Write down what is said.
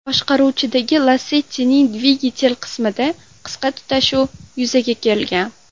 boshqaruvidagi Lacetti’ning dvigatel qismida qisqa tutashuv yuzaga kelgan.